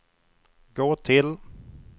gå till